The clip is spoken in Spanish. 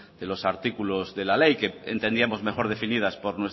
de los de los artículos de la ley que entendíamos mejor definidas